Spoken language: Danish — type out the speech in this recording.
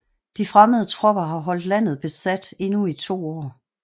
De fremmede tropper holdt landet besat endnu i 2 år